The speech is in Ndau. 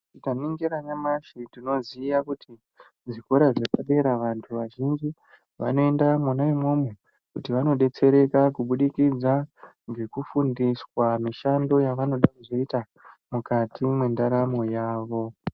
Tikaningira nyamashi tinoziya kuti zvikora zvepadera vantu vazhinji vanoenda mwona imwomwo kuti vanodetsereka kubudikidza ngekufundiswa mishando yavanoda kuzoita mukati mwendaramo yavo.